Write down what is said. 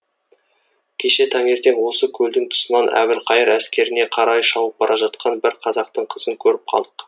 кеше таңертең осы көлдің тұсынан әбілқайыр әскеріне қарай шауып бара жатқан бір қазақтың қызын көріп қалдық